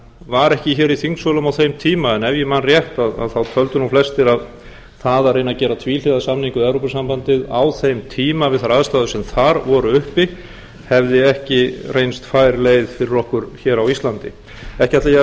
var ekki í þingsölum á þeim tíma en ef ég man rétt töldu flestir að það að reyna að gera tvíhliða samning við evrópusambandið á þeim tíma við þær aðstæður sem þar voru uppi hefði ekki reynst fær leið fyrir okkur á íslandi ekki ætla ég að